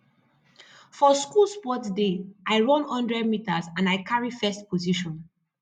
for school sports day i run one hundred meters and i carry first position